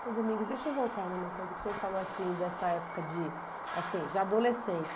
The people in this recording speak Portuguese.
Senhor Domingos, deixa eu voltar numa coisa que o senhor falou assim, dessa época de, assim, de adolescente.